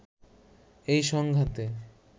এই সংঘাতে